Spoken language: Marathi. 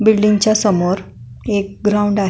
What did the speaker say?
बिल्डिंगच्या समोर एक ग्राउंड आहे.